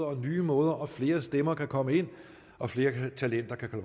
og nye måder og flere stemmer kan komme ind og flere talenter kan få